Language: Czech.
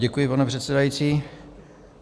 Děkuji, pane předsedající.